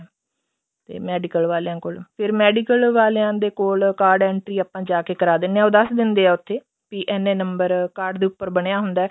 ਤੇ medical ਵਾਲਿਆਂ ਕੋਲ ਫਿਰ medical ਵਾਲਿਆਂ ਦੇ ਕੋਲ card entry ਆਪਾਂ ਜਾਕੇ ਕਰਾ ਦਿੰਦੇ ਆ ਉਹ ਦੱਸ ਦਿੰਦੇ ਆ ਉੱਥੇ ਵੀ ਇੰਨੇ ਨੰਬਰ card ਦੇ ਉੱਪਰ ਬਣਿਆ ਹੁੰਦਾ